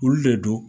Olu de don